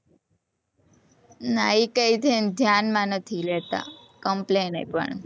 ના એ કાઈ ધ્યાન માં નથી લેતા complain એ પણ